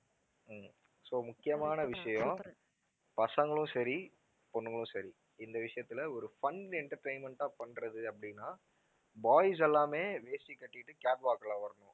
உம் so முக்கியமான விஷயம் பசங்களும் சரி, பொண்ணுங்களும் சரி இந்த விஷயத்துல ஒரு fun entertainment ஆ பண்றது அப்படின்னா boys எல்லாமே வேஷ்டி கட்டிட்டு catwalk ல வரணும்.